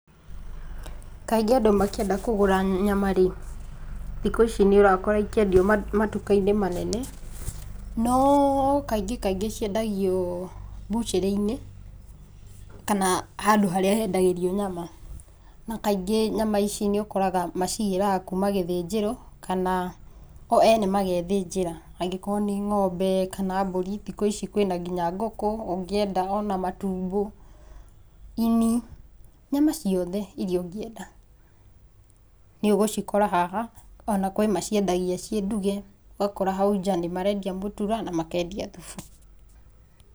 Kaingĩ andũ makĩenda kũgũra nyama rĩ, thikũ ici nĩũrakora ikĩendio matuka-inĩ manene. No kaingĩ kaingĩ ciendagio mbucarĩ-inĩ kana handũ harĩa hendagĩrio nyama. Na kaingĩ nyama ici nĩũkoraga macigĩraga kuma gĩthĩnjĩro kana o ene magethĩnjĩra angĩkorwo nĩ ng'ombe, kana mbũri. Thiku ici kwĩna nginya ngũkũ. Ungĩenda ona matumbo, ini, cama ciothe iria ũngĩenda nĩũgũcikora haha. Ona kwĩ maciendagia ciĩ nduge. Ũgakora hau nja nĩmarendia mũtura na makendia thubu.